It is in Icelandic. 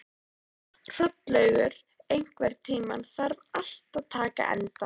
Hrollaugur, einhvern tímann þarf allt að taka enda.